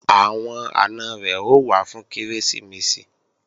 Àwọn àna rẹ̀ ó wá fún Kérésìmesì